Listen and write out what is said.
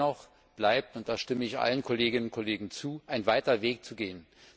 Dennoch bleibt und da stimme ich allen Kolleginnen und Kollegen zu noch ein weiter Weg zu gehen.